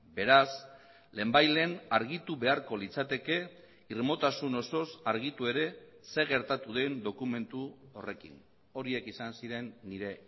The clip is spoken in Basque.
beraz lehenbailehen argitu beharko litzateke irmotasun osoz argitu ere zer gertatu den dokumentu horrekin horiek izan ziren nire